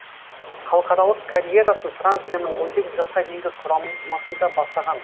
халықаралық карьерасын францияның он сегіз жасқа дейінгі құрамасында бастаған